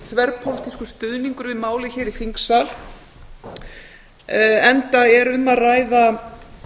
þverpólitískur stuðningur við málið hér í þingsal enda er um að ræða